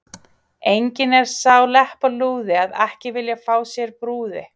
Enginn er sá leppalúði að ekki vilja fá sér brúði.